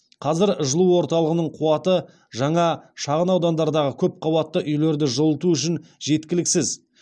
қазір жылу орталығының қуаты жаңа шағын аудандардағы көпқабатты үйлерді жылыту үшін жеткіліксіз